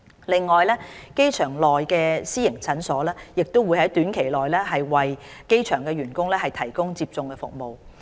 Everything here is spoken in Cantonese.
另外，機場內的私營診所亦會在短期內為機場員工提供接種服務。